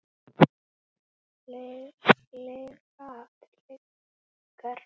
Lygar og aftur lygar.